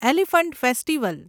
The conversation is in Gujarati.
elephant festival